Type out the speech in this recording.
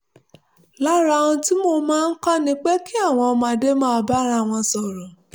lára ohun tí mo máa ń kọ́ ni pé kí àwọn ọmọdé máa bá ara wọn sọ̀rọ̀